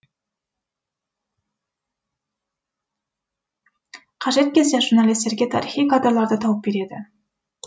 қажет кезде журналистерге тарихи кадрларды тауып береді